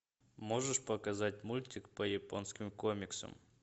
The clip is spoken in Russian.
можешь показать мультик по японским комиксам